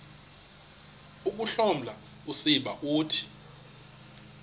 ukuhloma usiba uthi